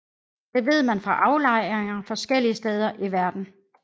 Det ved man fra aflejringer forskellige steder i verden